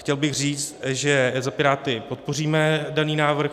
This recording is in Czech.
Chtěl bych říct, že za Piráty podpoříme daný návrh.